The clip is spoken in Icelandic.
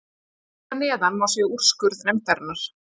Hér að neðan má sjá úrskurð nefndarinnar.